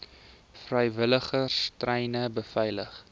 vrywilligers treine beveilig